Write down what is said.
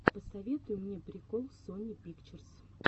посоветуй мне прикол сони пикчерс